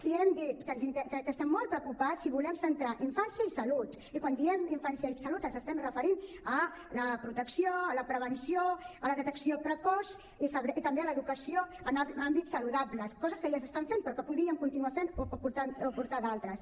i hem dit que estem molt preocupats i volem centrar infància i salut i quan diem infància i salut ens estem referint a la protecció a la prevenció a la detecció precoç i també a l’educació en àmbits saludables coses que ja s’estan fent però que podríem continuar fent o aportar ne d’altres